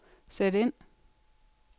sæt ind